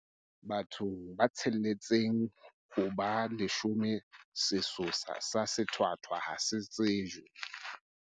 Bathong ba tsheletseng ho ba leshome sesosa sa sethwathwa ha se tsejwe.